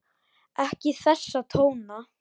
Ekki þessa tóna!